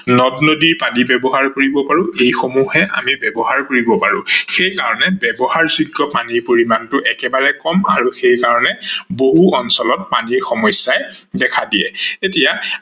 নদ-নদীৰ পানী ব্যৱহাৰ কৰিব পাৰো এইসমূহে আমি ব্যৱহাৰ কৰিব পাৰো। সেইকাৰনে ব্যৱহাৰযোগ্য পানীৰ পৰিমানটো একেবাৰে কম আৰু সেইকাৰনে বহু অঞ্চলত পানীৰ সমস্যাই দেখা দিয়ে। এতিয়া